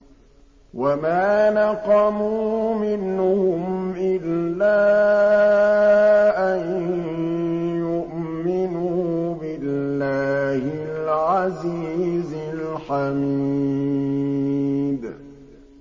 وَمَا نَقَمُوا مِنْهُمْ إِلَّا أَن يُؤْمِنُوا بِاللَّهِ الْعَزِيزِ الْحَمِيدِ